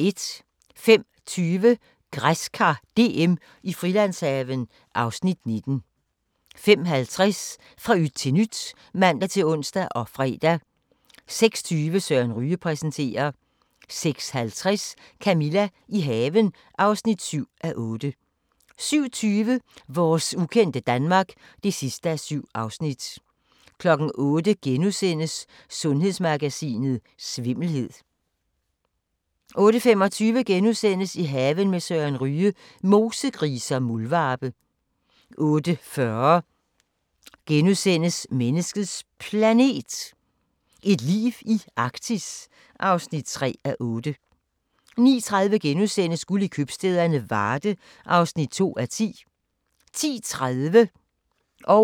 05:20: Græskar DM i Frilandshaven (Afs. 19) 05:50: Fra yt til nyt (man-ons og fre) 06:20: Søren Ryge præsenterer 06:50: Camilla – i haven (7:8) 07:20: Vores ukendte Danmark (7:7) 08:00: Sundhedsmagasinet: Svimmelhed * 08:25: I haven med Søren Ryge: Mosegrise og muldvarpe * 08:40: Menneskets Planet – et liv i Arktis (3:8)* 09:30: Guld i købstæderne - Varde (2:10)* 10:30: Antikkrejlerne (man-ons)